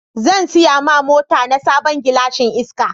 Zan siya ma mota na sabon gilashin iska.